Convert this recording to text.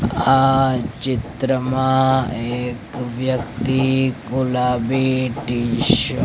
આ ચિત્રમાં એક વ્યક્તિ ગુલાબી ટીશ--